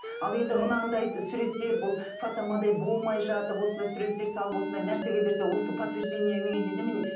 ал енді мынандай суреттер бұл фотомодель болмай жатып осындай суреттер салып осындай нәрсеге берсе осы подтверждение немене